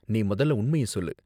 நீ முதல்ல உண்மைய சொல்லு.